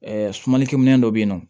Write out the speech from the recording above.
sumanlikɛ minɛn dɔ bɛ yen nɔ